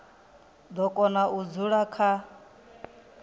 do kona u dzula kha